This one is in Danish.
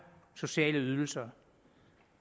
sociale ydelser